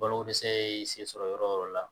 Balokodɛsɛ ye sen sɔrɔ yɔrɔ o yɔrɔ la